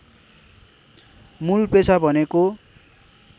मूल पेशा भनेको